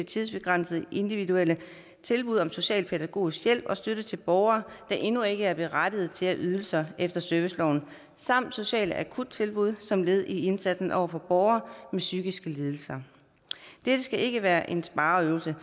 tidsbegrænsede individuelle tilbud om socialpædagogisk hjælp og støtte til borgere der endnu ikke er berettiget til ydelser efter serviceloven samt sociale akuttilbud som led i indsatsen over for borgere med psykiske lidelser dette skal ikke være en spareøvelse